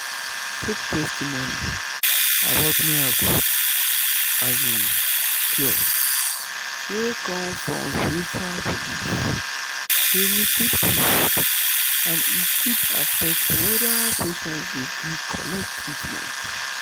fake testimony about miracle um cure wey come from spiritual belief dey mislead people and e fit affect whether patient go gree collect treatment.